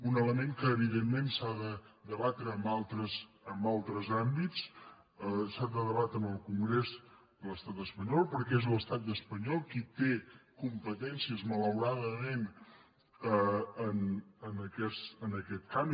un element que evident·ment s’ha de debatre en altres àmbits s’ha de deba·tre en el congrés de l’estat espanyol perquè és l’es·tat espanyol qui té competències malauradament en aquest camp